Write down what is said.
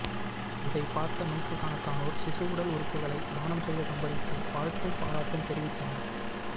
இதை பார்த்த நூற்றுக் கணக்கானோர் சிசுஉடல் உறுப்புகளை தானம் செய்த தம்பதிக்கு வாழ்த்தும் பாராட்டும் தெரிவித்தனர்